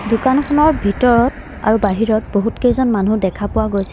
দোকানখনৰ ভিতৰত আৰু বাহিৰত বহুতকেইজন মানুহ দেখা পোৱা গৈছে।